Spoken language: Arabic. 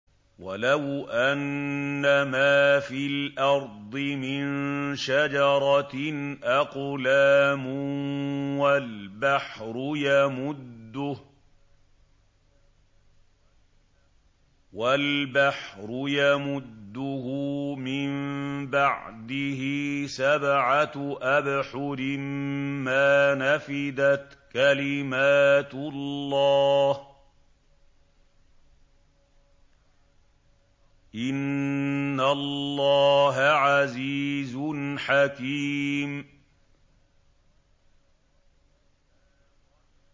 وَلَوْ أَنَّمَا فِي الْأَرْضِ مِن شَجَرَةٍ أَقْلَامٌ وَالْبَحْرُ يَمُدُّهُ مِن بَعْدِهِ سَبْعَةُ أَبْحُرٍ مَّا نَفِدَتْ كَلِمَاتُ اللَّهِ ۗ إِنَّ اللَّهَ عَزِيزٌ حَكِيمٌ